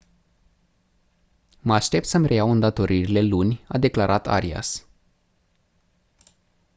mă aștept să-mi reiau îndatoririle luni» a declarat arias.